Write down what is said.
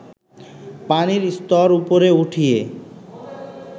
পানির স্তর উপরে উঠিয়ে